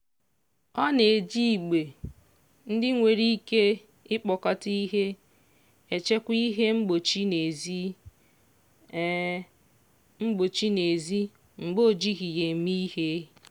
ọ na-eji igbe ndị nwere ike ikpokọta ihe echekwa ihe mgbochi n'ezi mgbochi n'ezi mgbe o jighị ya eme ihe.